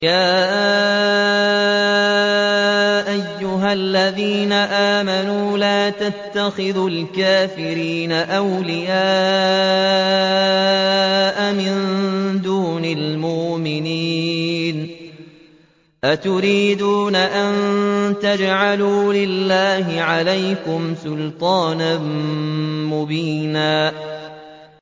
يَا أَيُّهَا الَّذِينَ آمَنُوا لَا تَتَّخِذُوا الْكَافِرِينَ أَوْلِيَاءَ مِن دُونِ الْمُؤْمِنِينَ ۚ أَتُرِيدُونَ أَن تَجْعَلُوا لِلَّهِ عَلَيْكُمْ سُلْطَانًا مُّبِينًا